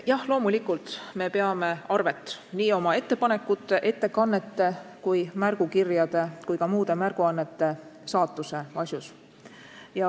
Jah, loomulikult me peame arvet nii oma ettepanekute, ettekannete, märgukirjade kui ka muude märguannete saatuse üle.